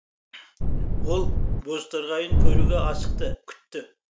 ол бозторғайын көруге асықты күтті